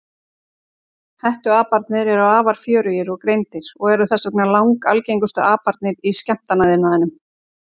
Hettuaparnir eru afar fjörugir og greindir og eru þess vegna langalgengustu aparnir í skemmtanaiðnaðinum.